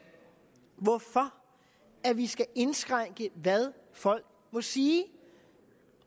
hvorfor vi skal indskrænke hvad folk må sige